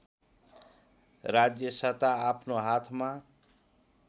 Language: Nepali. राज्यसत्ता आफ्नो हातमा